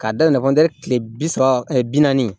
K'a daminɛ kɔntɛ kile bi saba bi naani